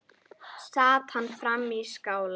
Sat hann frammi í skála.